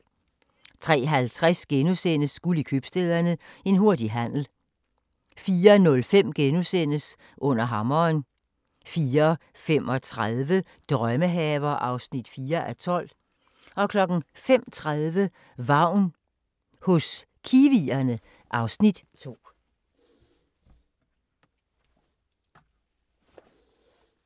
03:50: Guld i Købstæderne – En hurtig handel * 04:05: Under hammeren * 04:35: Drømmehaver (4:12) 05:30: Vagn hos kiwierne (Afs. 2)